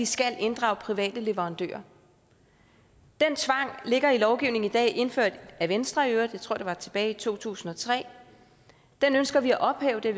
skal inddrage private leverandører den tvang ligger i lovgivningen i dag indført af venstre jeg tror det var tilbage i to tusind og tre og den ønsker vi at ophæve det